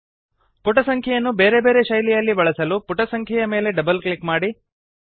ಪುಟ ಸಂಖ್ಯೆಯನ್ನು ಬೇರೆ ಬೇರೆ ಶೈಲಿಯಲ್ಲಿ ಬಳಸಲು ಪುಟ ಸಂಖ್ಯೆಯ ಮೇಲೆ ಡಬಲ್ ಕ್ಲಿಕ್ ಮಾಡಿ